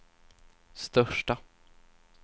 största